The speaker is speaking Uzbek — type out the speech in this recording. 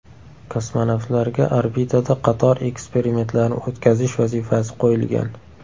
Kosmonavtlarga orbitada qator eksperimentlarni o‘tkazish vazifasi qo‘yilgan .